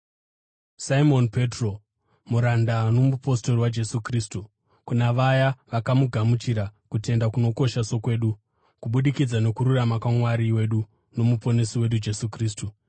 Simoni Petro, muranda nomupostori waJesu Kristu, kuna vaya vakagamuchira kutenda kunokosha sokwedu, kubudikidza nokururama kwaMwari wedu noMuponesi wedu Jesu Kristu: